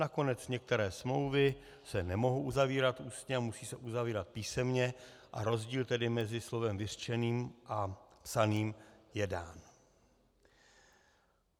Nakonec některé smlouvy se nemohou uzavírat ústně a musí se uzavírat písemně a rozdíl tedy mezi slovem vyřčeným a psaným je dán.